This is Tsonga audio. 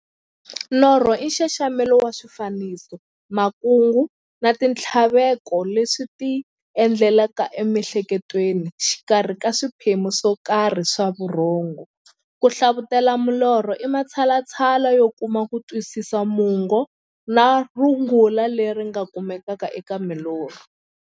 Norho i nxaxamelo wa swifaniso, makungu na minthlaveko leswi ti endlekelaka e mi'hleketweni exikarhi ka swiphemu swokarhi swa vurhongo. Ku hlavutela milorho i matshalatshala yo kuma kutwisisa mungo na rungula leri nga kumekaka eka milorho.